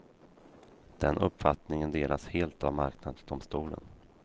Den uppfattningen delas helt av marknadsdomstolen.